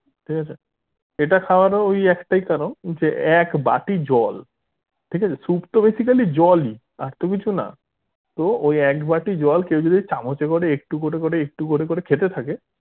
ঠিক আছে এটা খাওয়ার ও ওই একটাই কারণ যে এক বাটি জল ঠিক আছে soup তো basically জল ই আর তো কিছুনা তো ওই এক বাটি জল কেউ যদি চামচে করে একটু করে করে একটু করে করে খেতে থাকে